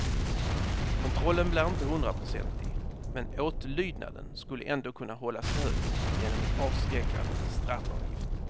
Kontrollen blir inte hundraprocentig, men åtlydnaden skulle ändå kunna hållas hög genom en avskräckande straffavgift.